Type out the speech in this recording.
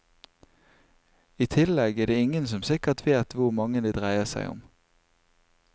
I tillegg er det ingen som sikkert vet hvor mange det dreier seg om.